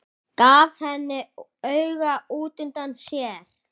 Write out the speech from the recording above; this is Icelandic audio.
Gaf henni auga útundan sér.